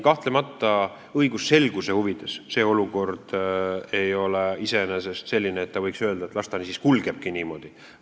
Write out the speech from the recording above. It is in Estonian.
Kahtlemata, õigusselguse huvides ei saa iseenesest öelda, et las ta siis kulgebki niimoodi.